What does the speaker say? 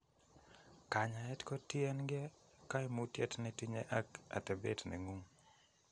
Kanyaet kotiengee kaimutyet netinye ak atebet nengung'